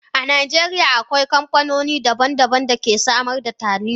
a Najeriya, akwai kamfanoni daban-daban da ke samar da Taliya.